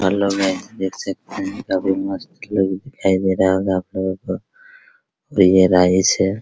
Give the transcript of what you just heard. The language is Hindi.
हेलो गाइस देख सकते हैं काफी मस्त लोग दिखाई दे रहे होंगे आप लोगों को और ये राइस है ।